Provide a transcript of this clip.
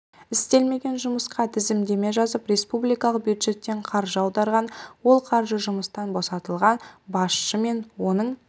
істелмеген жұмысқа тізімдеме жазып республикалық бюджеттен қаржы аударған ол қаржы жұмыстан босатылған басшы мен оның